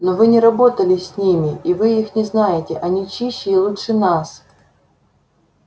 но вы не работали с ними и вы их не знаете они чище и лучше нас